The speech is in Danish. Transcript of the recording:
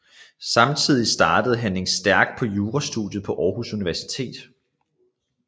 Samtidig startede Henning Stærk på jurastudiet på Aarhus Universitet